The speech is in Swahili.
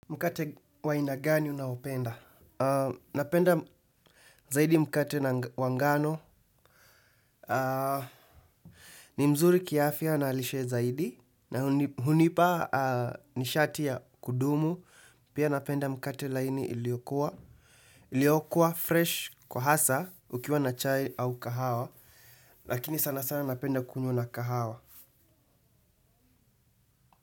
Mkate wa aina gani unaopenda? Napenda zaidi mkate wa ngano. Ni mzuri kiafya na lishe zaidi. Na hunipa nishati ya kudumu. Pia napenda mkate laini iliokua. Iliokua fresh kwa hasa ukiwa na chai au kahawa. Lakini sana sana napenda kunywa na kahawa.